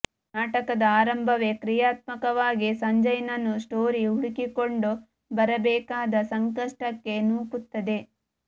ನಾಟಕದ ಆರಂಭವೇ ಕ್ರಿಯಾತ್ಮಕವಾಗಿ ಸಂಜಯನನ್ನು ಸ್ಟೋರಿ ಹುಡುಕಿಕೊಂಡು ಬರಬೇಕಾದ ಸಂಕಷ್ಟಕ್ಕೆ ನೂಕುತ್ತದೆ